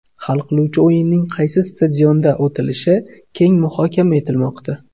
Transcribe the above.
Hal qiluvchi o‘yinning qaysi stadionda o‘tishi keng muhokama etilmoqda.